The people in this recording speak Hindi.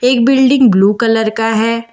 एक बिल्डिंग ब्लू कलर का है।